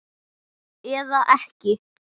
Eða ekki?